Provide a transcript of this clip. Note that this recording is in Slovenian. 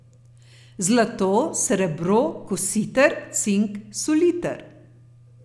Zlato, srebro, kositer, cink, soliter ...